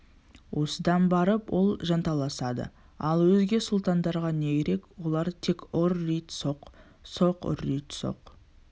осыдан барып ол жанталасады ал өзге сұлтандарға не керек олар тек ұр-рит соқ соқ ұр-рит соқ